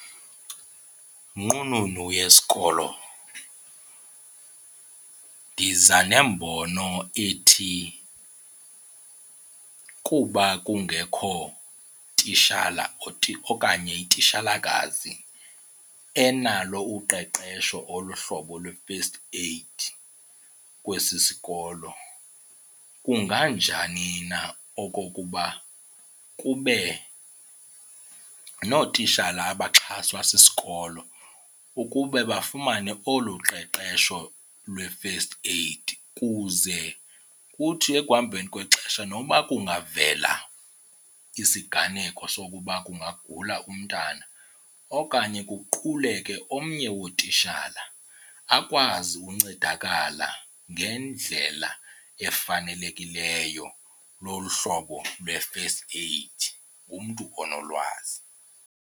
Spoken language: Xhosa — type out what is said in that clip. Nqununu yesikolo ndiza nembono ethi kuba kungekho tishala okanye tishalakazi enalo uqeqesho ngolu hlobo lwe-first aid kwesi sikolo kunganjani na okokuba kube nootitshala abaxhaswa sisikolo ukube bafumane olu qeqesho lwe-first aid. Kuze kuthi ekuhambeni kwexesha nokuba kungavela isiganeko sokuba kungagula umntana okanye kuquleke omnye wootitshala akwazi uncedakala ngendlela efanelekileyo lolu hlobo lwe-first aid kumntu onolwazi.